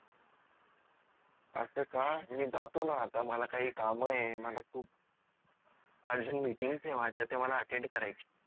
अस का मी जातो न आता मला काही काम आहे मला खूप urgentmeatings आहेत माझ्या त्या मला attend करायची